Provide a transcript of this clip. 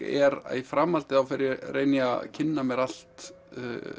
er að í framhaldi reyni ég að kynna mér allt